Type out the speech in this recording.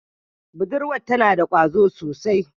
Budurwar tana da kwazo sosai.